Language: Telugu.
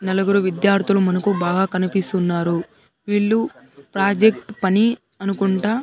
నలుగురు విద్యార్థులు మనకు బాగా కనిపిస్తున్నారు వీళ్ళు ప్రాజెక్ట్ పని అనుకుంటా.